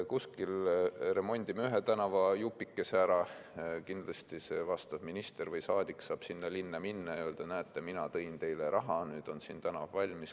Kuskil remondime ühe tänavajupikese ära, kindlasti minister või saadik saab sinna linna minna ja öelda, et näete, mina tõin teile raha, nüüd on siin tänav valmis.